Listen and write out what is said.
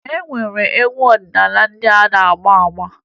E nwere egwu ọdịnaala ndị a na-agba agba